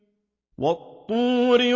وَالطُّورِ